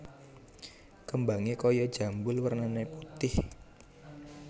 Kembangé kaya jambul wernané putih